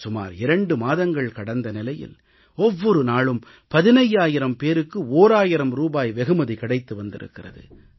சுமார் இரண்டு மாதங்கள் கடந்த நிலையில் ஒவ்வொரு நாளும் 15000 பேருக்கு ஓராயிரம் ரூபாய் வெகுமதி கிடைத்து வந்திருக்கிறது